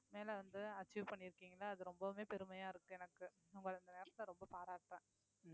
மேல வந்து achieve பண்ணிருக்கீங்கள அது ரொம்பவுமே பெருமையா இருக்கு எனக்கு உங்களை இந்த நேரத்துல ரொம்ப பாராட்டுறேன்